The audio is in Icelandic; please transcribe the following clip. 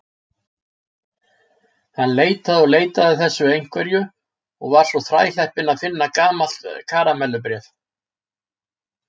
Hann leitaði og leitaði að þessu einhverju og var svo þrælheppinn að finna gamalt karamellubréf.